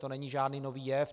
To není žádný nový jev.